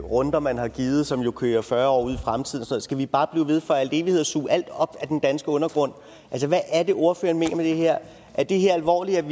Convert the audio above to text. runder man har givet som kører fyrre år ud i fremtiden skal vi bare blive ved i al evighed at suge alt op af den danske undergrund hvad er det ordføreren mener med det her er det her alvorligt